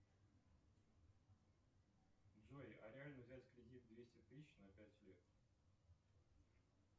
джой а реально взять кредит двести тысяч на пять лет